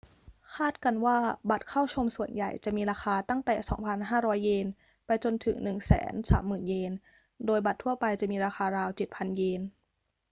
คาดกันว่าบัตรเข้าชมส่วนใหญ่จะมีราคาตั้งแต่ 2,500 เยน ไปจนถึง 130,000 เยน โดยบัตรทั่วไปจะมีราคาราว 7,000 เยน